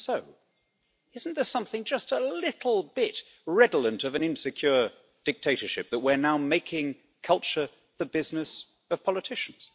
Even so, isn't there something just a little bit redolent of an insecure dictatorship that we're now making culture the business of politicians?